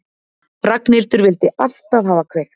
Ragnhildur vildi alltaf hafa kveikt.